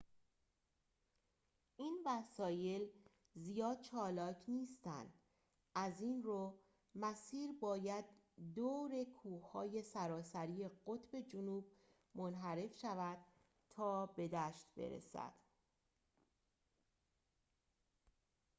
این وسایل زیاد چالاک نیستند از این‌رو مسیر باید دور کوه‌های سراسری قطب جنوب منحرف شود تا به دشت برسد